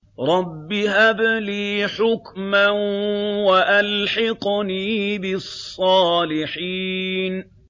رَبِّ هَبْ لِي حُكْمًا وَأَلْحِقْنِي بِالصَّالِحِينَ